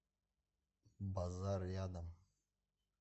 базар рядом